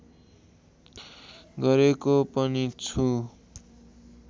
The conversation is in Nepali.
गरेको पनि छु